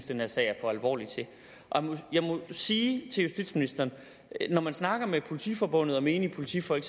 den her sag er for alvorlig til jeg må sige til justitsministeren når man snakker med politiforbundet og menige politifolk